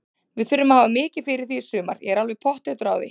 Við þurfum að hafa mikið fyrir því í sumar, ég er alveg pottþéttur á því.